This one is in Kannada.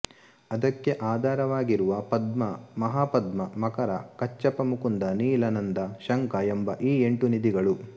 ಅದಕ್ಕೆ ಆಧಾರ ವಾಗಿರುವ ಪದ್ಮ ಮಹಾಪದ್ಮ ಮಕರ ಕಚ್ಛಪ ಮುಕುಂದ ನೀಲ ನಂದ ಶಂಖ ಎಂಬ ಈ ಎಂಟೂ ನಿಧಿಗಳು